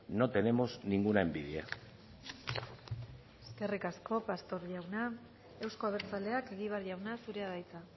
no tenemos ninguna envidia eskerrik asko pastor jauna euzko abertzaleak egibar jauna zurea da hitza